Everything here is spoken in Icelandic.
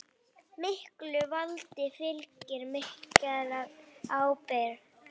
Miklu valdi fylgir mikil ábyrgð.